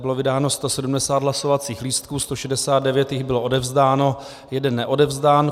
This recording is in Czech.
Bylo vydáno 170 hlasovacích lístků, 169 jich bylo odevzdáno, 1 neodevzdán.